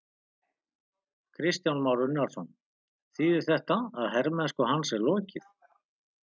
Kristján Már Unnarsson: Þýðir þetta að hermennsku hans er lokið?